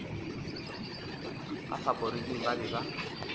ka faporiking ba be ba